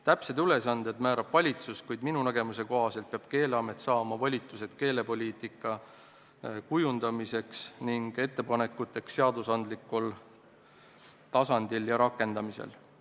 Täpsed ülesanded määrab valitsus, kuid minu nägemuse kohaselt peab Keeleamet saama volitused keelepoliitika kujundamiseks ning ettepanekuteks seadusandlikul tasandil ja nende rakendamisel.